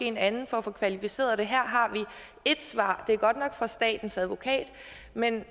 en anden for at få kvalificeret det og her har vi ét svar det er godt nok fra statens advokat men